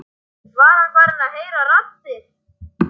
Var hann farinn að heyra raddir?